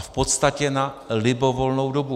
A v podstatě na libovolnou dobu.